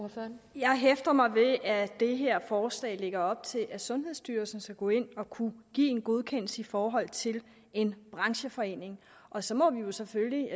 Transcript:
jeg hæfter mig ved at det her forslag lægger op til at sundhedsstyrelsen skal gå ind og kunne give en godkendelse i forhold til en brancheforening og så må vi vi selvfølgelig